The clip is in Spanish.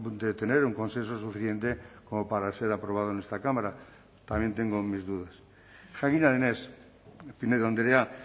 de tener un consenso suficiente como para ser aprobado en esta cámara también tengo mis dudas jakina denez pinedo andrea